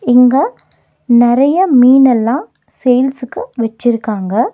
இங்க நறைய மீன்னெல்லா சேல்ஸ்க்கு வெச்சிருக்காங்க.